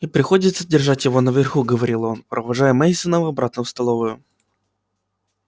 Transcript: и приходится держать его наверху говорил он провожая мейсонов обратно в столовую